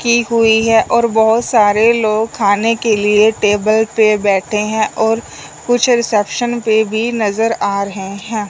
की हुई है और बहोत सारे लोग खाने के लिए टेबल पे बैठे हैं और कुछ रिसेप्शन पे भी नजर आ रहे है।